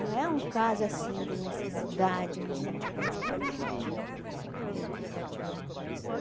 Não é um caso assim de necessidade mesmo, a gente pode chamar eles.